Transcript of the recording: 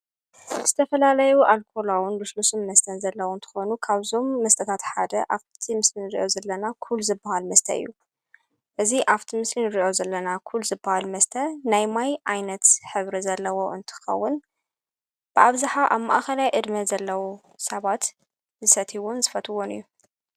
ዝተፈላለዩ ኣልኮላውን ልስሉስን መስተን ዘለዉ እንተኾኑ ካብዞም መስጠታት ሓደ ኣብቲእቲ ምስልን ርእዮ ዘለና ዂል ዝበሃል መስተይ እዩ እዝ ኣብቲ ምስልን ርእዮ ዘለና ዂል ዝበሃል መስተ ናይ ማይ ኣይነት ሕብሪ ዘለዎ እንትኸውን ብኣብዝኃ ኣብ ማእኸላይ እድሜ ዘለዉ ሰባት ዝሰትይዎን ስፈትዎን እዩ::